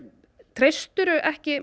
treystirðu ekki